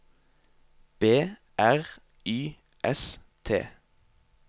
B R Y S T